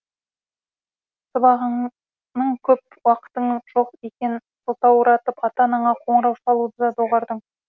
сабағыңның көп уақытыңның жоқ екенін сылтауратып ата анаңа қоңырау шалуды да доғардың